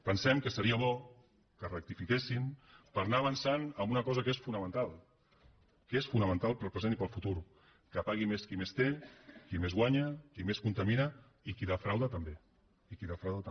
pensem que seria bo que rectifiquessin per anar avançant en una cosa que és fonamental que és fonamental per al present i per al futur que pagui més qui més té qui més guanya qui més contamina i qui defrauda també i qui defrauda també